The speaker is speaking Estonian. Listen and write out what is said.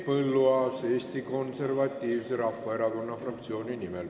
Henn Põlluaas Eesti Konservatiivse Rahvaerakonna fraktsiooni nimel.